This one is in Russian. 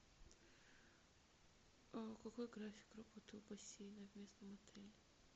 какой график работы у бассейна в местном отеле